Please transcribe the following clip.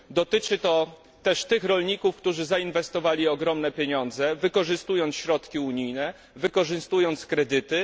Dotyczy to też tych rolników, którzy zainwestowali ogromne pieniądze, wykorzystując środki unijne i wykorzystując kredyty.